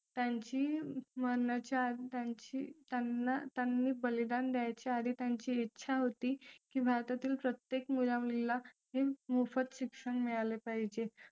त्यांची भरण्याच्या आधी त्यांची त्यांना त्यांनी बलिदान द्यायच्या आधी त्यांची इच्छा होती की भारतातील प्रत्येक मुला मुलीला मोफत शिक्षण मिळाले पाहिजे